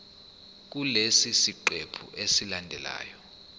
kulesi siqephu esilandelayo